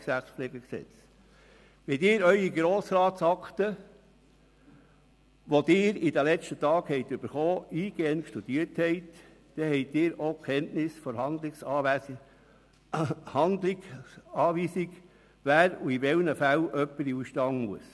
Wenn Sie Ihre Grossratsakten, die Sie in den letzten Tagen bekommen haben, eingehend studiert haben, haben Sie auch Kenntnis von den Handlungsanweisungen, wer in welchen Fällen in den Ausstand treten muss.